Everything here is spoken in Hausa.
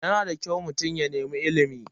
Yana da kyau mutum ya nemi ilimi.